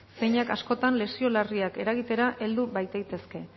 zeinak askotan lesio larriak eragitera heldu bait daitezke